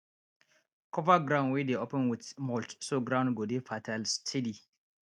cover ground wey dey open with mulch so ground go dey fertile steady